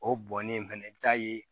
O bɔnnen fɛnɛ i bi taa ye